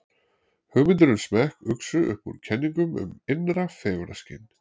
hugmyndir um smekk uxu upp úr kenningum um innra fegurðarskyn